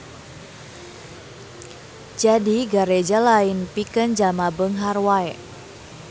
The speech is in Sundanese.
Jadi Gareja lain pikeun jalma beunghar wae.